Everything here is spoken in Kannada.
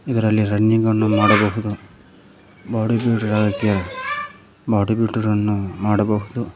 ಇದರಲ್ಲಿ ರನ್ನಿಂಗ್ ಅನ್ನು ಮಾಡಬಹುದು ಬಾಡಿ ಬಿಲ್ಡರ್ ಆಗೋಕೆ ಬಾಡಿ ಬಿಲ್ಡರ್ ಅನ್ನು ಮಾಡಬಹುದು.